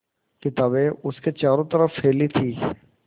किताबें उसके चारों तरफ़ फैली थीं